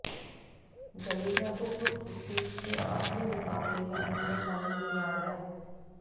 जडेजा को group stage के आखिरी मुकाबले में टीम में शामिल किया गया